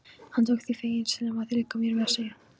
Hann tók því feginsamlega, liggur mér við að segja.